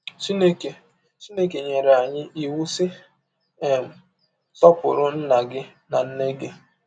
Chineke Chineke nyere anyị iwụ, sị: um “ Sọpụrụ nna gị na nne gị. ”